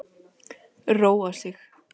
Róa sig.